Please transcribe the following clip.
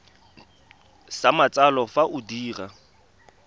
sa matsalo fa o dira